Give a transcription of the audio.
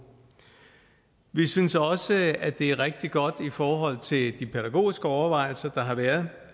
vi synes også at det er rigtig godt i forhold til de pædagogiske overvejelser der har været